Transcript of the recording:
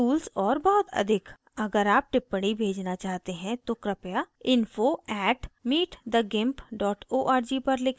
अगर आप टिप्पणी भेजना चाहते हैं तो कृपया info @meetthegimp org पर लिखें